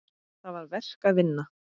Þar var verk að vinna.